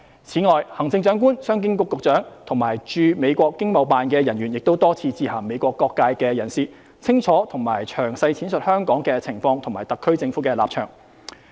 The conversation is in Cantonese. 此外，行政長官、商經局局長和駐美國經貿辦人員亦多次致函美國各界人士，清楚和詳細闡述香港的情況及特區政府的立場。